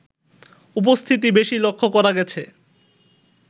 উপস্থিতি বেশী লক্ষ্য করা গেছে